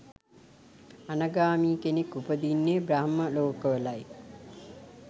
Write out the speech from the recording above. අනාගාමී කෙනෙක් උපදින්නේ බ්‍රහ්ම ලෝකවලයි.